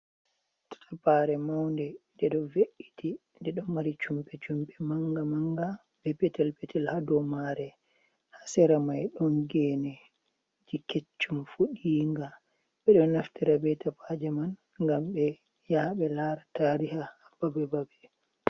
Tapare maunde: Nde do ve’iti, nde ɗo mari chumpe-chumpe manga-manga, be petel-petel ha dou mare. Ha sera mai don geneji kecchum fuɗi'nga. Ɓedo naftira be tapaje man, ngam ɓe yaha ɓe lara tariha ha babe-babe.